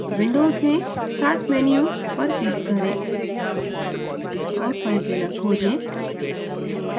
windows में start menu पर click करें और filezilla खोजें